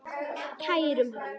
Kærum hann.